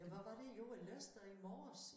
Ja hvad var det jo jeg læste da i morges